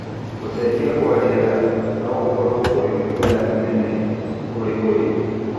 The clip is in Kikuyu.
Gũcenjia kwa rĩera no gũkorwo kũrĩ igũtha inene kũrĩ ũrĩmi.